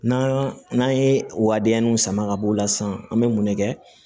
N'an n'an ye o waleya ninw sama ka bɔ o la sisan an bɛ mun ne kɛ